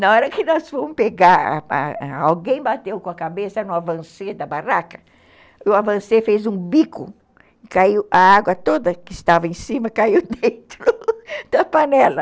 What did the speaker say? Na hora que nós fomos pegar, alguém bateu com a cabeça no avancê da barraca, o avancê fez um bico, caiu a água toda que estava em cima, caiu dentro da panela.